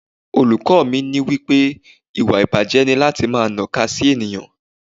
Olùkọ́ mi wí pé ìwà ìbàjé ni láti máa naka sí ènìyàn.